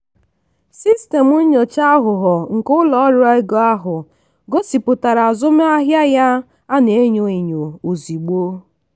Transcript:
sistemu nyocha aghụghọ nke ụlọ ọrụ ego ahụ gosipụtara azụmahịa ya a na-enyo enyo ozugbo.